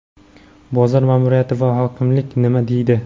Bozor ma’muriyati va hokimlik nima deydi?.